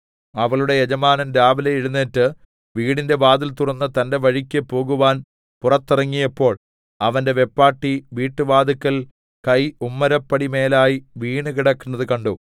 അവളുടെ യജമാനൻ രാവിലെ എഴുന്നേറ്റ് വീട്ടിന്റെ വാതിൽ തുറന്ന് തന്റെ വഴിക്ക് പോകുവാൻ പുറത്തിറങ്ങിയപ്പോൾ അവന്റെ വെപ്പാട്ടി വീട്ടുവാതില്‍ക്കൽ കൈ ഉമ്മരപ്പടിമേലായി വീണുകിടക്കുന്നത് കണ്ടു